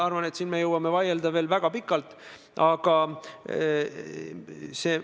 Ja suure-suure arutelu peale sõlmiti kolmepoolne kokkulepe.